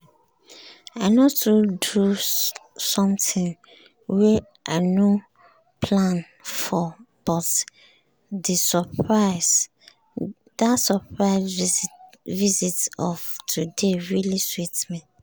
i no too dey do something wey i nor plan for but di surprise visit of today really sweet me.